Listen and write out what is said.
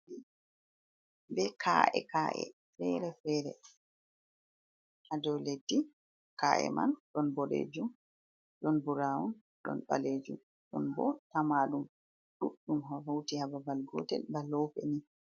Bee kaa’e-kaa’e feere-feere ha dow leddi. Kaa’e man ɗon boɗeejum, ɗon "buraawun", ɗon ɓaleejum, ɗon bo tamaaɗum ɗuɗɗum hawti ha babal gootel ba loope nii.